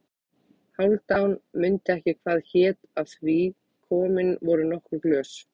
Hálfdán mundi ekki hvað hét af því komin voru nokkur glös.